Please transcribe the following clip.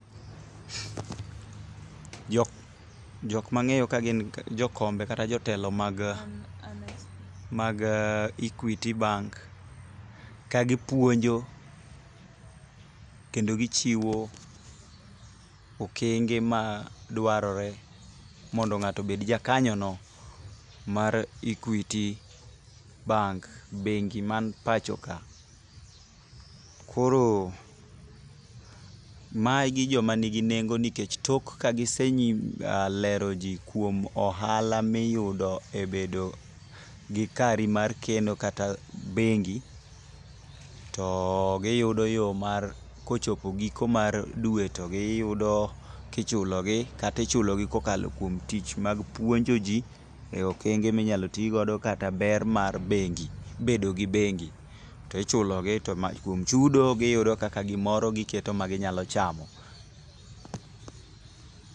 Jok mang'eyo ka gin jokombe kata jotelo mag Equity bank ka gipuonjo kendo gichiwo okenge ma dwarore mondo ng'ato obed jakanyono mar Equity bank. Bengi man pacho ka. Koro, magi jomanigi nengo nikech tok ka giselero ji kuom ohala miyudo e bedo gi kari mar keno kata bengi, to giyudo yo mar, kochopo giko mar dwe to giyudo kichulogi kata ichulogi kokalo kuom tich mag puonjoji e okenge minyalo ti godo kata ber mar bengi. Bedogi bengi. To ichulogi to kuom chudo, giyudo kaka gimoro giketo ma gi nyalo chamo.